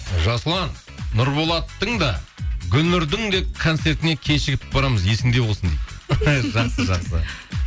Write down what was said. жасұлан нұрболаттың да гүлнұрдің де концертіне кешігіп барамыз есіңде болсын дейді жасқы жақсы